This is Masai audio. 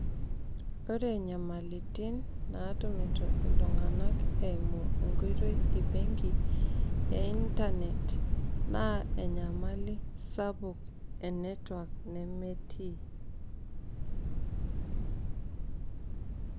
ore inyamalitin naatumitu iltunganak eimu enkoitoi ebenki,e internet naa enyamali sapuk e network nemetii.